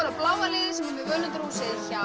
bláa liðið sem er með völundarhúsið hjá